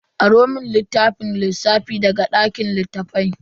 Aro mun littafin lissafi daga dakin littafai.